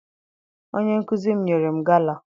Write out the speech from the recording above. Onye nkụzi m nyere m gala.